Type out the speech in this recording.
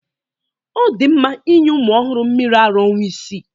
Ọ dị mma inye ụmụ ọhụrụ mmiri ara ọnwa isii.